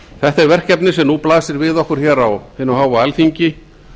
þetta er verkefni sem nú blasir við okkur á hinu háa alþingi